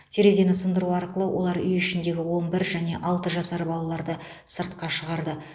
терезені сындыру арқылы олар үй ішіндегі он бір және алты жасар балаларды сыртқа шығарды